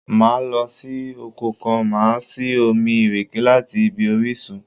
Máa lọ sí oko kan, màá sì omi ìrèké láti ibi orísun.